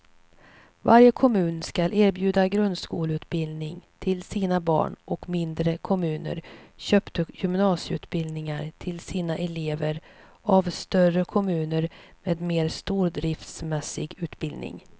Varje kommun skulle erbjuda grundskoleutbildning till sina barn och mindre kommuner köpte gymnasieutbildningar till sina elever av större kommuner med mer stordriftsmässig utbildning.